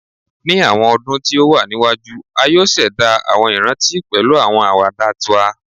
Ni awọn ọdun ti o wa niwaju, a yoo ṣẹda awọn iranti pẹlu awọn awada twa